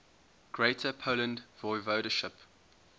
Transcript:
greater poland voivodeship